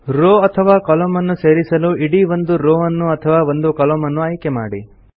row ಅಥವಾ ಕಾಲಮ್ನ ನ್ನು ಸೇರಿಸಲು ಇಡೀ ಒಂದು ರೋವ್ ನ್ನು ಅಥವಾ ಒಂದು ಕಾಲಮ್ನ ಅನ್ನು ಆಯ್ಕೆ ಮಾಡಿ